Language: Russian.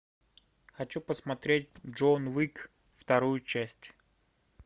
хочу посмотреть джон уик вторую часть